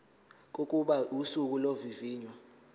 kokuba usuku lokuvivinywa